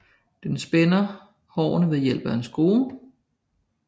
Den spænder hårene ved hjælp af en skrue